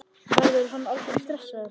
Verður hann aldrei stressaður?